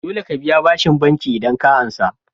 Dole ka biya bashin banki idan ka ansa